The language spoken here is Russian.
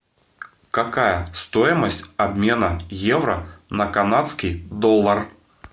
какая стоимость обмена евро на канадский доллар